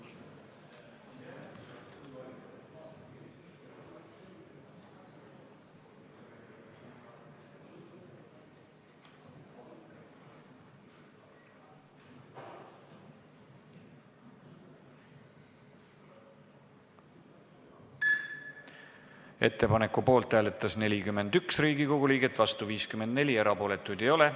Hääletustulemused Ettepaneku poolt hääletas 41 Riigikogu liiget, vastu oli 54, erapooletuid ei ole.